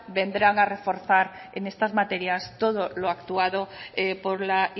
vendrán a reforzar en estas materias todos lo actuado por la